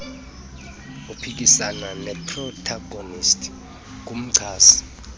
uphikisana neprotagonisti ngumchasi